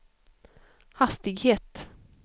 hastighet